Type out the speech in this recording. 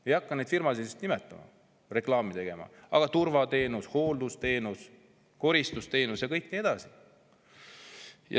Ma ei hakka neid firmasid nimetama, reklaami tegema, aga turvateenus, hooldusteenus, koristusteenus ja nii edasi.